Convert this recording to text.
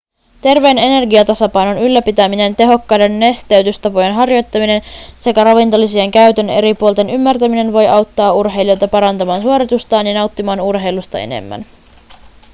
terveen energiatasapainon ylläpitäminen tehokkaiden nesteytystapojen harjoittaminen sekä ravintolisien käytön eri puolten ymmärtäminen voi auttaa urheilijoita parantamaan suoritustaan ja nauttimaan urheilusta enemmän